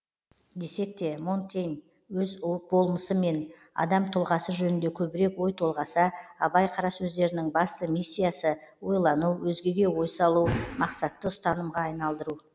десек те монтень өз болмысы мен адам тұлғасы жөнінде көбірек ой толғаса абай қара сөздерінің басты миссиясы ойлану өзгеге ой салу мақсатты ұстанымға айналдыру